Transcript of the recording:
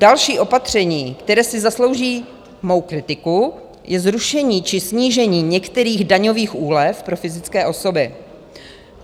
Další opatření, které si zaslouží mou kritiku, je zrušení či snížení některých daňových úlev pro fyzické osoby.